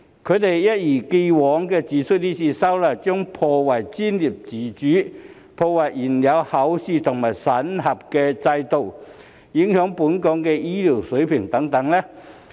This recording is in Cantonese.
他們一如既往地指出，今次修例將破壞專業自主、破壞現有考試和審核制度、影響本港醫療水平等。